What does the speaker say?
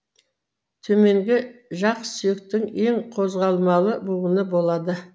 төменгі жақсүйектің ең қозғалмалы буыны болады